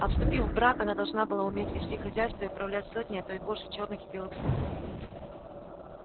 а вступив в брак она должна была уметь вести хозяйство и управлять сотней а то и больше чёрных и белых слуг